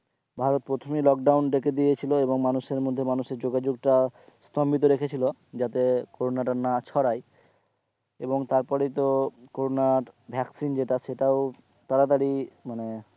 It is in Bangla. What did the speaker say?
ভারত প্রথমেই লোকডাউন ডেকে দিয়েছিলো এবং মানুষের মধ্যে মানুষের যোগাযোগটা স্তম্ভিত রেখে ছিলো যাতে কোরোনাটা না ছড়ায় এবং তারপরই তো কোরোনার ভ্যাকসিন যেটা সেটাও তাড়াতাড়ি মানে,